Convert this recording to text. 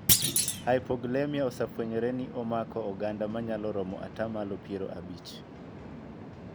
Hyperglycemia osefwenyore ni omako oganda manyalo romo ata malo piero abich.